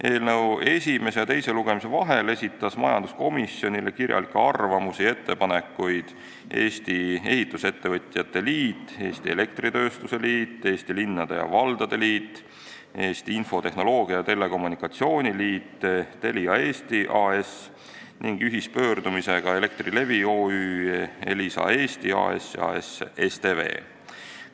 Eelnõu esimese ja teise lugemise vahel esitasid majanduskomisjonile kirjalikke arvamusi ja ettepanekuid Eesti Ehitusettevõtjate Liit, Eesti Elektritööstuse Liit, Eesti Linnade ja Valdade Liit, Eesti Infotehnoloogia ja Telekommunikatsiooni Liit, Telia Eesti AS ning ühispöördumisega Elektrilevi OÜ, Elisa Eesti AS ja AS STV.